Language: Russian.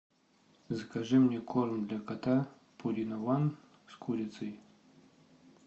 закажи мне корм для кота пурина ван с курицей